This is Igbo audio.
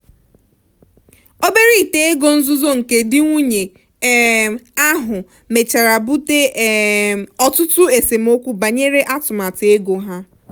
obere ite ego nzuzo nke di nwunye um ahụ mechara bute um ọtụtụ esemokwu banyere atụmatụ ego ha.